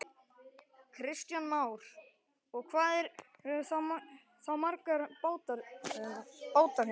Kristján Már: Og hvað eru þá margir bátar hérna?